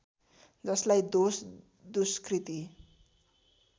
जसलाई दोष दुष्कृति